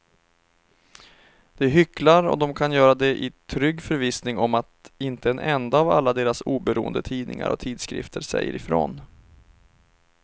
De hycklar och de kan göra det i trygg förvissning om att inte en enda av alla deras oberoende tidningar och tidskrifter säger ifrån.